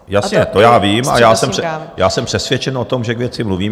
Jasně, to já vím, a já jsem přesvědčen o tom, že k věci mluvím.